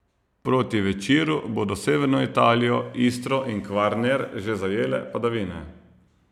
Proti večeru bodo severno Italijo, Istro in Kvarner že zajele padavine.